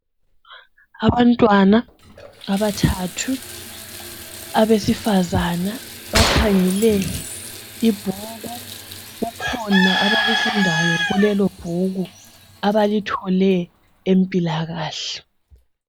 Abantwana abathathu abesifazane bakhangele ibhuku kukhona abakufundayo kulelobhuku abalithole empilakahle.